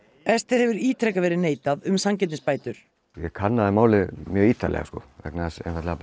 Esther hefur ítrekað verið neitað um sanngirnisbætur ég kannaði málið mjög ítarlega sko vegna þess einfaldlega